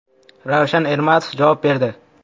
Ravshan Ermatov javob berdi.